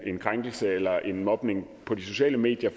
en krænkelse eller en mobning på de sociale medier